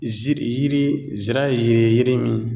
Ziri, yiri , zira yiri, yiri min